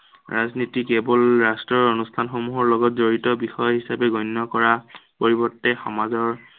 ৰাজনীতি কেৱল ৰাষ্ট্ৰৰ অনুষ্ঠানসমূহৰ লগত জড়িত বিষয় হিচাপে গণ্য় কৰা, পৰিৱৰ্তে সমাজৰ